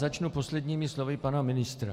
Začnu posledními slovy pana ministra.